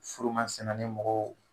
Furumasina nin mɔgɔw